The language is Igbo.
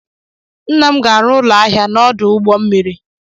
Nna m ga-arụ ụlọ ahịa n'ọdụ ụgbọ mmiri.